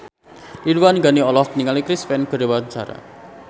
Ridwan Ghani olohok ningali Chris Pane keur diwawancara